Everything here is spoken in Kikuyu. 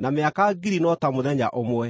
na mĩaka ngiri no ta mũthenya ũmwe.